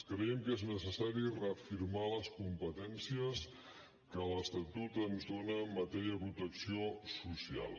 creiem que és necessari reafirmar les competències que l’estatut ens dóna en matèria de protecció social